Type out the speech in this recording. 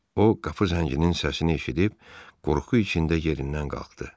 O qapı zənginin səsini eşidib qorxu içində yerindən qalxdı.